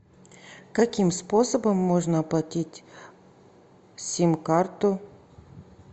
каким способом можно оплатить сим карту